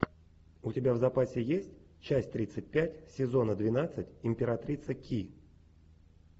у тебя в запасе есть часть тридцать пять сезона двенадцать императрица ки